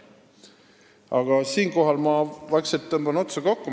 Siinkohal tõmban vaikselt otsad kokku.